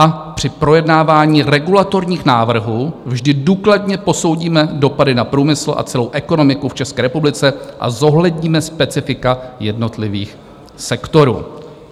A "při projednávání regulatorních návrhů vždy důkladně posoudíme dopady na průmysl a celou ekonomiku v České republice a zohledníme specifika jednotlivých sektorů".